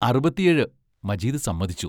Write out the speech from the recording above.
അറുപത്തിയേഴ് മജീദ് സമ്മതിച്ചു.